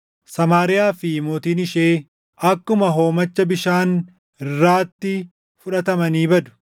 Samaariyaa fi mootiin ishee akkuma hoomacha bishaan irraatti fudhatamanii badu.